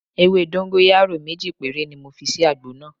Ewé dọ́ńgóráyò méjì péré ni mo fi sí àgbo náà.